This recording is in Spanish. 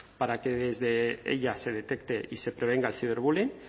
para que desde ella se detecte y se prevenga el ciberbullying